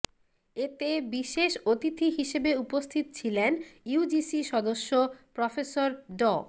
এতে বিশেষ অতিথি হিসেবে উপস্থিত ছিলেন ইউজিসি সদস্য প্রফেসর ড